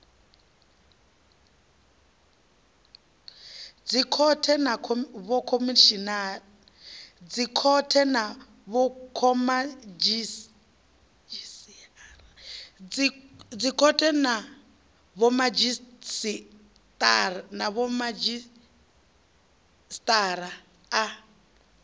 dzikhothe na vhomadzhisi ara a